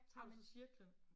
Tager du så cirklen?